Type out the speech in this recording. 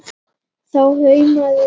Þau hámuðu í sig matinn.